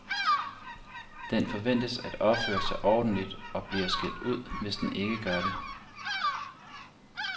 Den forventes at opføre sig ordentligt og bliver skældt ud, hvis den ikke gør det.